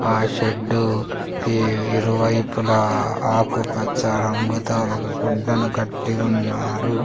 ఆ షెడ్డు కి ఇరువైపుల ఆకు పచ్చ రంగుతో ఒక గుడ్డను కట్టి ఉన్నారు.